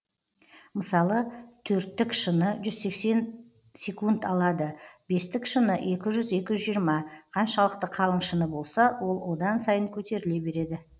мысалы төрттік шыны жүз сексен секунд алады бестік шыны екі жүз екі жүз жиырма қаншалықты қалың шыны болса ол одан сайын көтеріле береді